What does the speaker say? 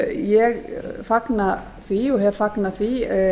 ég fagna því og hef fagnað því